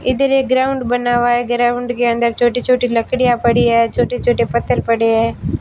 इधर एक ग्राउंड बना हुआ है ग्राउंड के अंदर छोटी छोटी लड़कियां पड़ी है छोटे छोटे पत्थर पडे है।